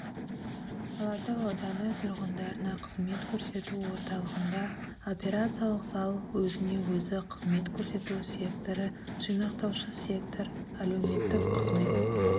алатау ауданы тұрғындарына қызмет көрсету орталығында операциялық зал өзіне-өзі қызмет көрсету секторы жинақтаушы сектор әлеуметтік қызмет